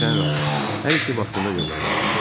Bilirsən Ram, hər işi vaxtında görmək lazımdır.